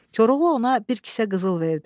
Koroğlu ona bir kisə qızıl verdi.